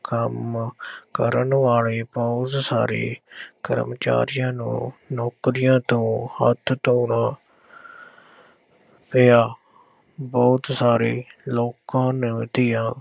ਕੰਮ ਕਰਨ ਵਾਲੇ ਬਹੁਤ ਸਾਰੇ ਕਰਮਚਾਰੀਆਂ ਨੂੰ ਨੌਕਰੀਆਂ ਤੋਂ ਹੱਥ ਧੋਣਾ ਪਿਆ, ਬਹੁਤ ਸਾਰੇ ਲੋਕਾਂ ਨ ਦੀਆਂ